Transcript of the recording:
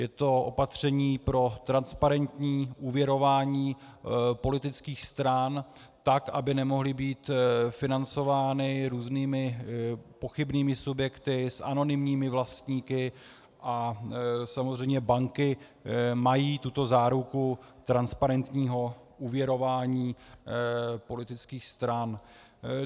Je to opatření pro transparentní úvěrování politických stran, tak aby nemohly být financovány různými pochybnými subjekty s anonymními vlastníky, a samozřejmě banky mají tuto záruku transparentního úvěrování politických stran.